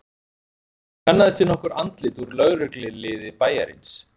Ég kannaðist við nokkur andlit úr lögregluliði bæjarins.